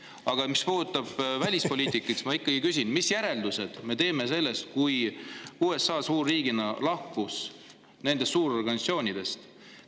Aga mis puudutab välispoliitikat, siis ma ikkagi küsin, mis järeldused me teeme sellest, et suurriik USA lahkus suurorganisatsioonidest.